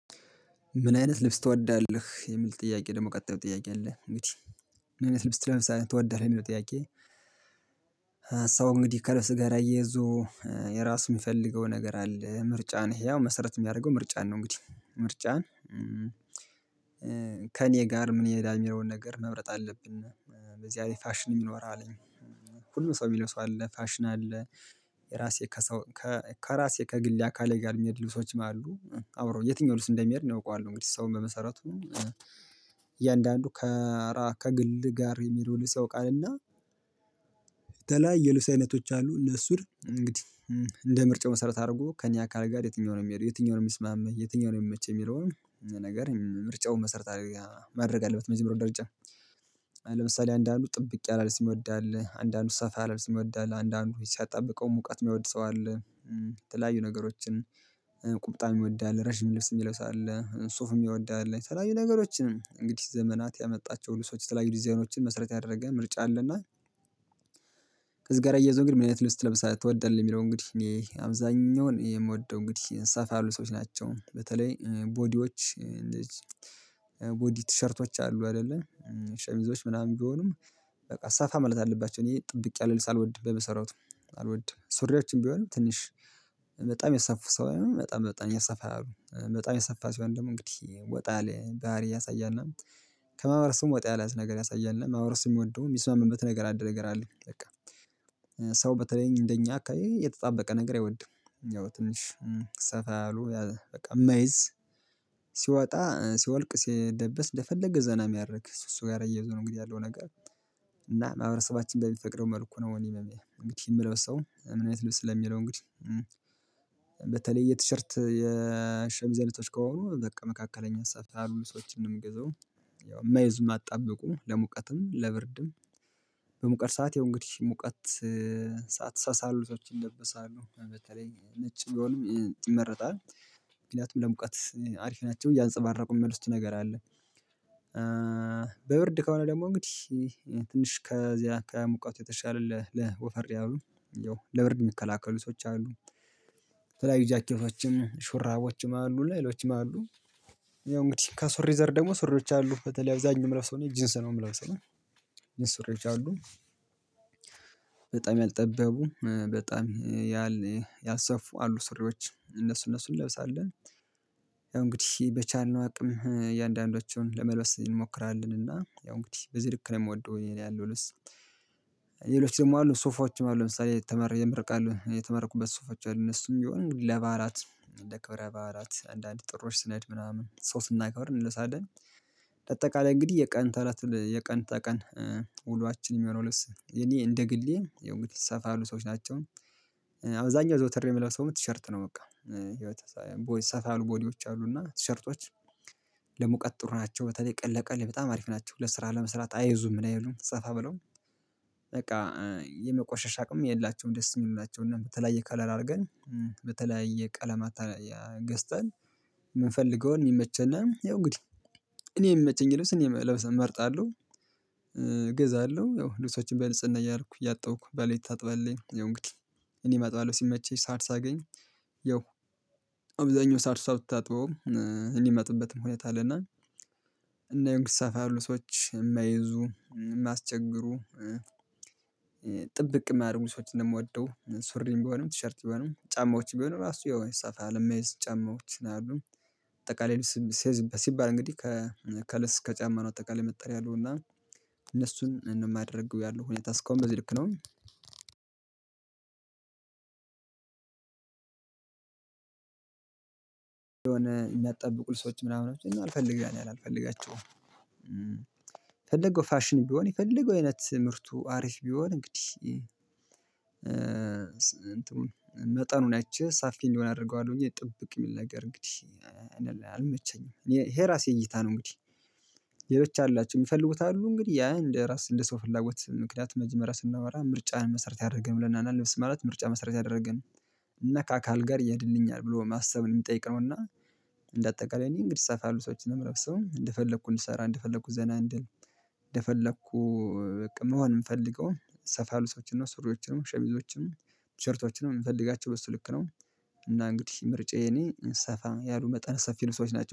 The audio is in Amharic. ምን አይነት ልብስ ትወዳለህ የሚል ጥያቄ ደግሞ ቀጣዩ ጥያቄ አለ እንግዲህ ምን አይነት ልብስ ትለብሳለህ ትወዳለህ እሚለው ጥያቄ? ሰው እንግዲህ ከልብስ ጋር እያይዞ የራሱ የሚፈልገው ነገር አለ ምርጫን ህያው መሰረት የሚያደርገው ምርጫን ነው። እንግዲህ ምርጫን ከእኔ ጋር ምን ይሄዳል የሚለውን ነገር መምረጥ አለብን። በዚያላይ ፋሽንም ይኖራል ሁሉ ሰው የሚለብሰው አለ ፋሽን አለ። ራሴ ከሰው ከራሴ ከግሌ አካሌ ጋር የሚሄዱ ልብሶችም አሉ አብረው የትኛው ልብስ እንደሚሄድ እኔ አውቀዋለሁ። እንግዲህ ሰውን በመሰረቱ ከራ ከግል ጋር የሚሄደው ልብስ ያውቃልና። ተላይ የልብስ አይነቶች አሉ እነሱን እንግዲህ እንደ ምርጫው መሰረት አድርጎ ከእኔ አካል ጋር የትኛው ነው የሚሄደው የትኛው ነው የሚስማማኝ የትኛው ነው የሚመች የሚለውን ነገር ምርጫውን መሰረት ማድረግ አለበት። በኑሮው ደረጃ ለምሳሌ አንዳንዱ ጥብቅ ያለ ልብስ የሚወድ አለ አንዳንዱ ሰፋ ያለ ልብስ የሚወድ አለ አንዳንድ ሲያጣ ብቀው ሙቀት የማይወድ ሰው አለ። የተለያዩ ነገሮችን ቁንጣ የሚወድ አለ ረጅም ልብስ የሚለውስለ ሱፍ የሚወድ ያለ የተለያዩ ነገሮችን እንግዲህ ዘመናት ያመጣቸው ለሰዎች የተለያዩ ዲዛይኖችን መስረት ያደረገ ምርጫ አለና። ከዚህ ጋር እያይዞ ግን ምን አይነት ልብስ ትለብሳለህ ትወዳለህ የሚለው እንግዲህ እኔ አብዛኛውን የምወደው እንግዲህ ሰፋ ያሉ ሰዎች ናቸው። በተለይ ቦዲዎች እነዚህ ቦዲ ቲሸርቶች አሉ አይደለም ሸሚዞች ምናምን ቢሆንም በቃ ሰፋ ማለት አለባቸው። እኔ ጥብቅ ያለ ልብስ አልወድም በመሰረቱ አልወድም። ሱሪዎችም ቢሆን ትንሽ በጣም የሰፋ ሳይሆን በጣም በጣም የሰፋ አሉ በጣም የሰፋ ሲሆን ደግሞ እንግዲህ ወጣ ባህሪ እያሳያል እና ከማህበረሰቡ ወጣ ያላ አይነት ነገር ያሳያልና ማህበረሰቡ የሚወደው የሚስማማበት ነገር አንድ ነገር አለ። በቃ ሰው በተለይ እንደኛ አካባቢ የተጣበቀ ነገር አይወድም። ያው ትንሽ ሰፋ ያሉ በቃ የማይዝ ሲወጣ ሲወልቅ ሲለበስ እንደፈለገ ዘና የሚያደርግ ከሱ ጋር አያይዞ ነው እንግዲህ ያለው ነገር እና ማህበረሰባችን በሚፈቅደው መልኩ ነው። እኔ የምለብሰው ምን አይነት ልብስ ስለሚለው እንግዲህ በተለይ የቲሸርት የሸሚዝ አይነቶች ከሆኑ በቃ መካከለኛ ሰፋ ያሉ ሰብሶችን ነው ምገዛው። ያው የማይዙ የማያጣብቁ ለሙቀትም ለብርድም በሙቀት ሰዓት ያው እንግዲህ ሙቀት ሰዓት ሳሳ ያሉ ልብሶች ይለበሳሉ በተለይ ነጭ ቢሆንም ይመረጣል ምክንያቱም ለሙቀት አሪፍ ናቸው እያንፀባረቁ የሚመልስቱት ነገር አለ። በብርድ ከሆነ ደግሞ እንግዲህ ትንሽ ከዚህ አካባቢ ሙቀቱ የተሻለ ወፈር ያሉ ብርድ የሚከላከሉ ልብሶች አሉ። የተለያዩ ጃኬቶችም ሹራቦችም አሉ ሌሎችም አሉ። ያው እንግዲህ ከሱሪ ዘር ደግሞ ሱሪዎች አሉ በተለይ አብዛኛው ምለብሰው እኔ ጂንስ ነው የምለብሰው። ጂንስ ሱሪዎች አሉ በጣም ያልጠበቡ በጣም ያልሰፉ አሉ ሱሪዎች እነሱ እነሱን እንለብሳለን። ያው እንግዲህ በቻልነው አቅም እያንዳንዳቸውን ለመልበስ እንሞክራለን እና ያው እንግዲህ በዚህ ልክ ነው የምወደው ያለኝን ልብስ። ሌሎች ደግሞ አሉ ሱፎችም አሉ ለምሳሌ የተማሪ የምርቃት የተመረኩበት ሱፎች አሉ እነሱም የሚሆኑት ለበዓላት ለክብረ በዓላት አንዳንዴ ጥሎሽ ስንሄድ ምናምን አሱን ስናከብር እንለብሳለን። በአጠቃላይ እንግዲህ የቀን ተቀን የቀን ተቀን ውሎዋችን የሚሆነው ልብስ የኔ እንደ ግሌ ያው እንግዲህ ሰፋ ያሉ ልብሶች ናቸው። አብዛኛው ዘወትር የምለብሰውም ቲሸርት ነው በቃ ወይ ሰፋ ያሉ ቦዲዎች አሉና ቲሸርቶች። ለሙቀት ጥሩ ናቸው በተለይ ቀንለይ ቀንለይ በጣም አሪፍ ናቸው ለስራ ለመስራት አይዙም ምን አይሉም ሰፋ ብለው። በቃ የመቆሸሽ አቅም የላቸውም ደስ የሚሉ ናቸውም። እና በተለያየ ከለር አድርገን በተለያየ ቀለማት ገዝተን የምንፈልገውን የሚመቸና ያው እንግዲህ እኔ የሚመቸኝ ልብስ እኔ መልበስ እመርጣለሁ። እገዛለሁ ያው ልብሶችን በንጽህና እያደረኩ እያጣብኩ ባለቤቴም ታጥበልኝ ያው አንግዲህ እኔም አጥባለሁ ሲመቸኝ ሰዓት ሳገኝ ያው አብዛኛውን ሰዓት እሷ ብታጥበውም ሁኔታ አለና። እና ግን ሰፋ ያሉ ሰዎች የማይዙ የማያስቸግሩ ጥብቅ የማያረጉ ልብሶችን ነው የምወደው። ሱሪም ቢሆንም ቲሸርት ቢሆንም ጫማዎች ቢሆኑ እራሱ የሆነ ሰፋ ያለ የማይዝ ጫማዎች በአጠቃላይ ሲይዝበት ሲባል እንግዲህ ከልብስ ከጫማ ነው አጠቅላይ መጣል ያለው እና እኔ የማደርገው ያለው ሁኔታ እስካሁን በዚህ ልክ ነው። አንድ የሆነ የሚያጣብቁ ልብሶችን ምናምን እኔ አልፈልጋቸውም። የፈለገው ፋሽን ቢሆን የፈለገው አይነት ምርቱ አሪፍ ቢሆን እንግዲህ ናቸው ሰፊ አንዲሆን አደርገዋለሁ እንጂ ጥብቅ የሚል ነገር እኔ አይመቸኝም። ይሄ ራሴ እይታ ነው እንግዲህ ሌሎች አላቸው የሚፈልጉት አሉ እንግዲህ ያ እንደ ራስ እንደ ሰው ፍላጎት ምክንያት መጀመሪያ ስናወራ ምርጫን መሰረት ያደረገን ብለናል እና እና ልብስ ማለት ምርጫ መሰረት ያደረገ እና ከአካል ጋር ይሄድብኛል ብሎ ማሰብን የሚጠይቅ ነውና። እንደ አጠቃላይ እኔ እንግዲህ ሰፋ ያሉ ልብሶችን ነው ምለብሰው እንደፈለኩ እንድሰራ እንደፈለኩ ዘና እንድል እንደፈለኩ በቃ መሆን የምፈልገውን ሰፋ ያሉ ልብሶችን ነው ሱሪዎችን እና ሸሚዞችን ቲሸርቶችን የምፈልጋቸው በሱ ልክ ነው። እና እንግዲህ ምርጫዬ እኔ ሰፋ ያሉ መጠነ ሰፊ ልብሶች ናቸው